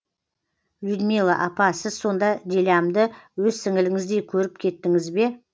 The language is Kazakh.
людмила апа сіз сонда дилямды өз сіңліңіздей көріп кеттіңіз бе